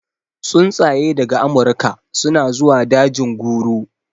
Tsuntsaye daga amurka suna zuwa dajin guru